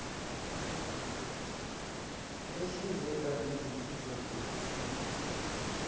ahlinzeka ngezinsiza zokuthungatha